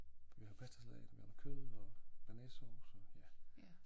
For vi har pastasalat og vi har noget kød og bearnaisesovs og ja